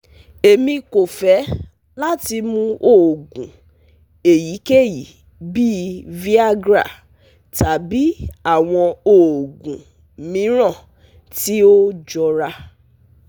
Emi ko fẹ lati mu oogun eyikeyi bii Viagra tabi awọn oogun miiran ti o jọra